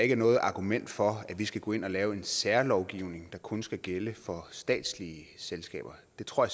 er noget argument for at vi skal gå ind og lave en særlovgivning der kun skal gælde for statslige selskaber det tror